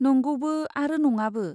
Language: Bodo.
नंगौबो आरो नङाबो!